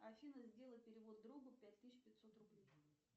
афина сделай перевод другу пять тысяч пятьсот рублей